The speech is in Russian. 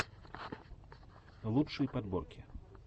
лучшие подборки